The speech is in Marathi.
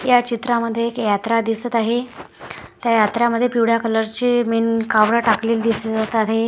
या चित्रामध्ये एक यात्रा दिसत आहे त्या यात्रामध्ये पिवळ्या कलरचे मेन कावड टाकलेली दिसत आहे.